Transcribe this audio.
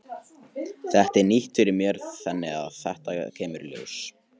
Þetta er nýtt fyrir mér þannig að þetta kemur í ljós.